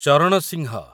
Charan Singh